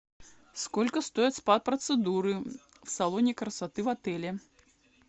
сколько стоят спа процедуры в салоне красоты в отеле